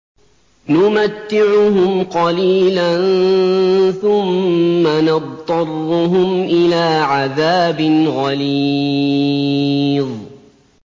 نُمَتِّعُهُمْ قَلِيلًا ثُمَّ نَضْطَرُّهُمْ إِلَىٰ عَذَابٍ غَلِيظٍ